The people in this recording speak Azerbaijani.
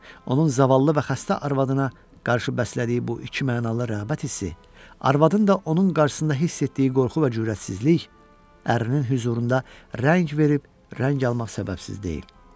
Onun zavallı və xəstə arvadına qarşı bəslədiyi bu ikimənalı rəğbət hissi, arvadın da onun qarşısında hiss etdiyi qorxu və cürrətsizlik, ərinin hüzurunda rəng verib rəng almaq səbəbsiz deyil.